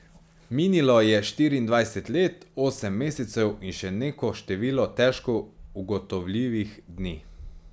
Minilo je štiriindvajset let, osem mesecev in še neko število težko ugotovljivih dni.